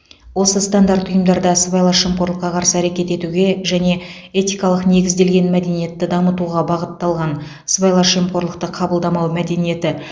осы стандарт ұйымдарда сыбайлас жемқорлыққа қарсы әрекет етуге және этикалық негізделген мәдениетті дамытуға бағытталған сыбайлас жемқорлықты қабылдамау мәдениеті